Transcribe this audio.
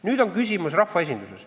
Nüüd on küsimus rahvaesinduses.